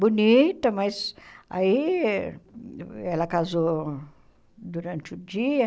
Bonita, mas aí ela casou durante o dia.